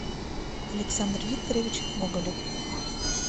александр викторович гоголев